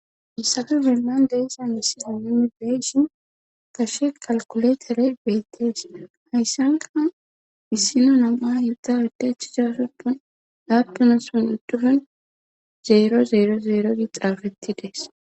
Issatu zeemman deessan issi amuni beyshi kashe qalkuletere beettees hayssanka issino nama yudda udachisasoppon laabtuna son uddufen zeero zeero zeero gi xaafeti dees.